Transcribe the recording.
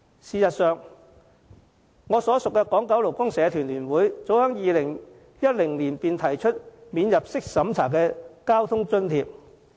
事實上，我所屬的港九勞工社團聯會早在2010年便提出免入息審查的交通津貼。